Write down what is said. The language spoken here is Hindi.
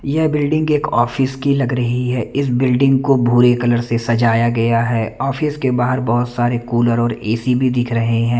यह बिल्डिंग एक ऑफिस की लग रही है ये बिल्डिंग को भूरे कलर से सजाया है ऑफिस के बाहर बहुत सारें कूलर और ए_सी भी दिख रहे हैं।